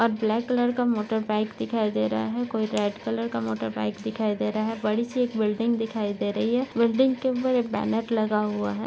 और black colour का motorbike दिखाई दे रहा है कोई रेड कलर का मोटरबाइक दिखाई दे रहा है बड़ीसी एक बिल्डिंग दिखाई दे रही है बिल्डिंग के ऊपर एक बैनर लगा हुआ है।